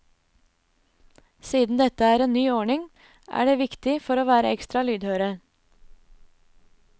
Siden dette er en ny ordning, er det viktig for å være ekstra lydhøre.